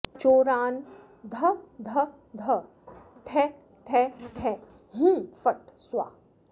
चोरान् ध ध ध ठः ठः ठः हुं फट् स्वाहा